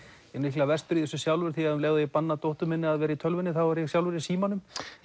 er örugglega verstur í þessu sjálfur því um leið og ég banna dóttur minni að vera í tölvunni þá er ég sjálfur í símanum